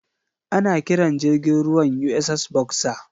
Ana kiran jirgin ruwan USS Boxer.